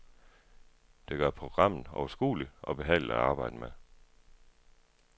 Det gør programmet overskueligt og behageligt at arbejde med.